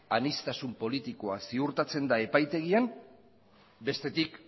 aniztasun politikoa ziurtatzen da epaitegian bestetik